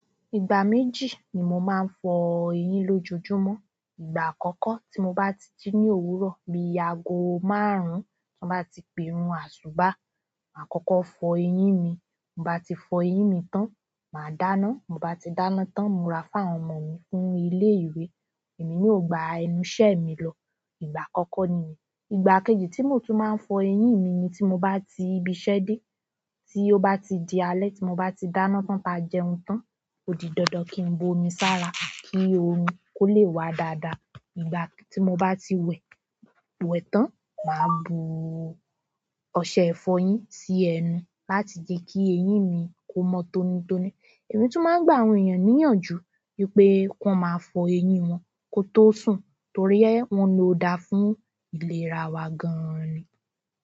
Ìgbà méjì ni mo máa ń fọ eyín lójoojúmọ́. Ìgbà àkọ́kọ́ tí mo bá ti jí ní òwúrọ̀, bí aago márùn-ún to n bá ti pe irun àṣubà, màá kọ́kọ́ fọ eyín mi. Mo bá ti fọ eyín mi tán, mà á dáná. Ti n bá ti dáná tán, nmu ra fún àwọn ọmọ mi fún ilé ìwé. Èmi náà ò gba ẹnu iṣẹ́ mi lọ. Ìgbà àkọ́kọ́ nìyẹn. Ìgbà kejì tí mo tún máa ń fọ eyín mi ni tí mo bá ti ibiṣẹ́ dé, tí ó bá ti di alẹ́, tí mo bá ti dáná tán táa jẹun tán. Ò di dandan kí n bo omi sára kí orún kó le wà dáadáa. Ìgbà tí mo bá ti wẹ̀, wẹ̀ tán, mà á bu ọṣẹ ìfọyín sí ẹnu láti je kí eyín mi kó mọ́ tónítóní. Èmi tún máa ń gba àwọn ènìyàn níyànjú wípé ki wọ́n máa fọ eyín wọn kó tó sùn torí ẹ́ wọ́n lò dá fún ìlera wa gan-an ni.